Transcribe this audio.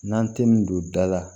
N'an tɛ nin don da la